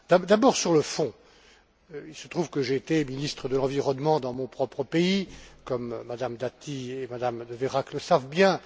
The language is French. D'abord, sur le fond, il se trouve que j'ai été ministre de l'environnement dans mon propre pays, comme Mme Dati et Mme De Veyrac le savent bien.